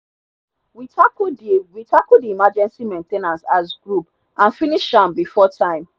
we tackle the we tackle the emergency maintainace as group and finish am before time.